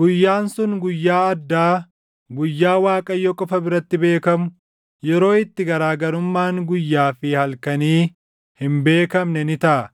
Guyyaan sun guyyaa addaa, guyyaa Waaqayyo qofa biratti beekamu, yeroo itti garaagarummaan guyyaa fi halkanii hin beekamne ni taʼa.